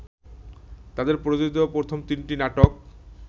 তাদের প্রযোজিত প্রথম তিনটি নাটক